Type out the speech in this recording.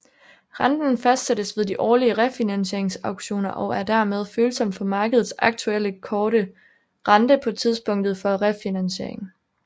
Renten fastsættes ved de årlige refinansieringsauktioner og er dermed følsom for markedets aktuelle korte rente på tidspunktet for refinansiering